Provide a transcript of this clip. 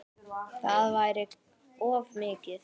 Það væri of mikið.